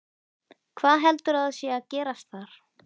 Hvað heldurðu að sé að gerast þar?